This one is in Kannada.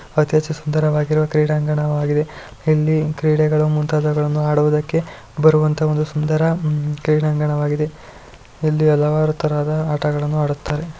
ಅತಿ ಹೆಚ್ಚು ಸುಂದರವಾಗಿರುವ ಕ್ರೀಡಾಂಗಣವಾಗಿದೆ ಇಲ್ಲಿ ಕ್ರೀಡೆಗಳು ಮುಂತಾದವುಗಳನ್ನು ಆಡುವುದಕ್ಕೆ ಬರುವಂತಹ ಒಂದು ಸುಂದರ ಹಮ್ಮ್ ಕ್ರೀಡಾಂಗಣವಾಗಿದೆ ಇಲ್ಲಿ ಹಲವಾರು ತರಹದ ಆಟಗಳನ್ನು ಆಡುತ್ತಾರೆ .